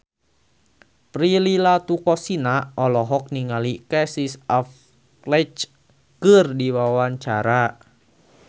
Prilly Latuconsina olohok ningali Casey Affleck keur diwawancara